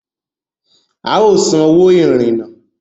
A o sàn òwò irinnà